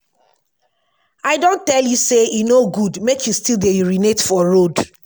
i don tell you say e no good mek you still dey urinate for road